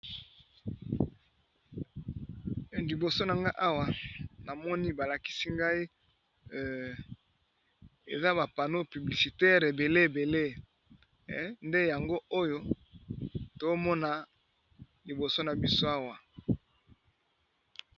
Liboso na nga awa na moni ba lakisi ngai eza ba pano publicitaire ebele ebele, nde yango oyo tomona liboso na biso awa.